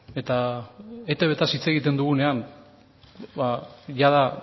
eta eitbtaz hitz egiten dugunean jada